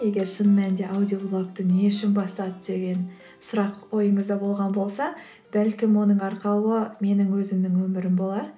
егер шын мәнде аудиоблогты не үшін бастады деген сұрақ ойыңызда болған болса бәлкім оның арқауы менің өзімнің өмірім болар